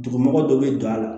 Dugumɔgɔ dɔ bɛ don a la